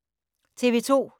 TV 2